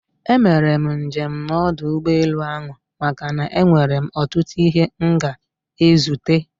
E mere njem na ọdụ ụgbọ elu ahụ maka na-enwere m otutu ihe m ga ezute